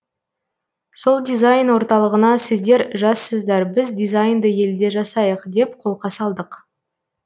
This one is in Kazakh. сол дизайн орталығына сіздер жассыздар біз дизайнды елде жасайық деп қолқа салдық